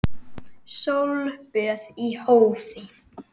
Sólböð í hófi.